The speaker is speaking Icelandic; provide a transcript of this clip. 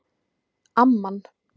Amman